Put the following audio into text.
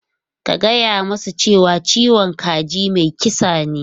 Ka gaya musu cewa "ciwon kaji mai kisa ne!".